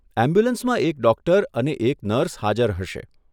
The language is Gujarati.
એમ્બ્યુલન્સમાં એક ડૉક્ટર અને એક નર્સ હાજર હશે.